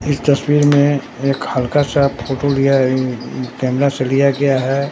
इस तस्वीर में एक हल्का सा फोटो लिया है कैमरा से लिया गया है।